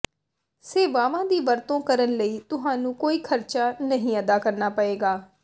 ਸੇਵਾਵਾਂ ਦੀ ਵਰਤੋਂ ਕਰਨ ਲਈ ਤੁਹਾਨੂੰ ਕੋਈ ਖਰਚਾ ਨਹੀਂ ਅਦਾ ਕਰਨਾ ਪਏਗਾ